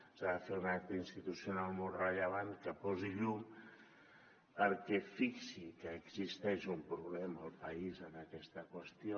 s’ha de fer un acte institucional molt rellevant que posi llum que fixi que existeix un problema al país en aquesta qüestió